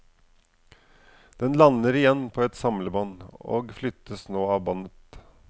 Den lander igjen på et samlebånd, og flyttes nå av båndet.